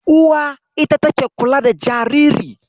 Uwa ita take kula da jariri.